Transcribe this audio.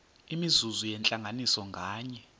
imizuzu yentlanganiso nganye